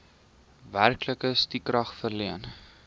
werklike stukrag verleen